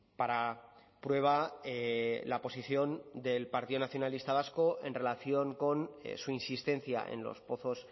para prueba la posición del partido nacionalista vasco en relación con su insistencia en los pozos